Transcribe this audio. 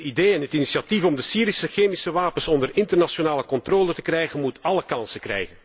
Het idee en het initiatief om de Syrische chemische wapens onder internationale controle te krijgen moet alle kansen krijgen.